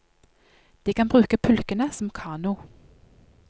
De kan bruke pulkene som kano.